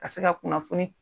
Ka se ka kunnafoni